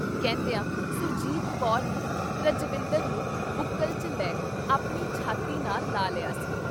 ਕਹਿੰਦਿਆਂ ਸੁਰਜੀਤ ਕੌਰ ਨੇ ਰਜਵਿੰਦਰ ਨੂੰ ਬੁੱਕਲ 'ਚ ਲੈ ਆਪਣੀ ਛਾਤੀ ਨਾਲ ਲਾ ਲਿਆ ਸੀ।